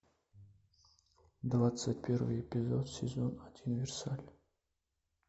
двадцать первый эпизод сезон один версаль